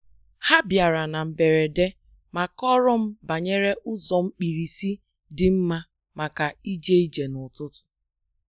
Ha bịara na mberede ma kọọrọ m banyere ụzọ mkpirisi dị mma maka ije ije n’ututu.